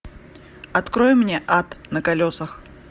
открой мне ад на колесах